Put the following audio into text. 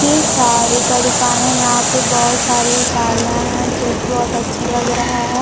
ये साड़ी का दुकान है यहां पे बहोत सारी साड़ियां है जो की बहुत अच्छा लगा है।